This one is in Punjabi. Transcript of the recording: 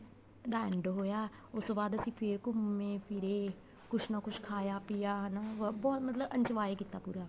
ਦਾ end ਹੋਇਆ ਉਹ ਤੋਂ ਬਾਅਦ ਅਸੀਂ ਫੇਰ ਘੁੰਮੇ ਫਿਰੇ ਕੁੱਝ ਨਾ ਕੁੱਝ ਖਾਇਆ ਪਿਆ ਹਨਾ ਬਹੁਤ ਮਤਲਬ enjoy ਕੀਤਾ ਪੂਰਾ